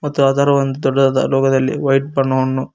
ಮತ್ತು ಅದರ ಒಂದು ದೊಡ್ಡದಾದ ಲೋಗೋ ದಲ್ಲಿ ವೈಟ್ ಬಣ್ಣವನ್ನು--